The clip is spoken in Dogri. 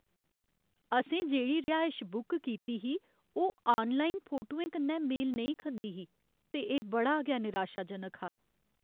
असें जेह्ड़ी रिहायश बुक कीती ही ओह् आनलाइन फोटुएं कन्नै मेल नेईं खंदी ही, ते एह् बड़ा गै निराशाजनक हा।